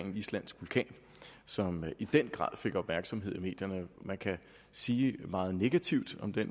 en islandsk vulkan som i den grad fik opmærksomhed i medierne man kan sige meget negativt om det